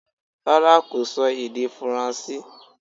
Rárá kò sọ èdè faransé